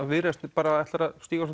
Viðreisn ætlar að stíga